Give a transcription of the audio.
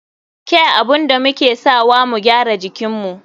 Kya abun da muke sawa mu gyara jikinmu.